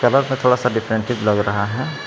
थोड़ा सा डिफेंसिव लग रहा है।